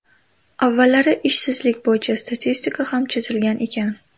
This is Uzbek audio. Avvallari ishsizlik bo‘yicha statistika ham chizilgan ekan.